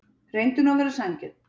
Reyndu nú að vera sanngjörn.